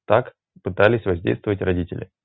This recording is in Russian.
так пытались воздействовать родитьли